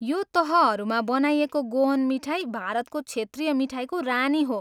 यो तहहरूमा बनाइएको गोअन मिठाई भारतको क्षेत्रीय मिठाईको रानी हो।